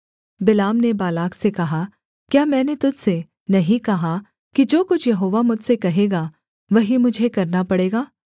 बिलाम ने बालाक से कहा क्या मैंने तुझ से नहीं कहा कि जो कुछ यहोवा मुझसे कहेगा वही मुझे करना पड़ेगा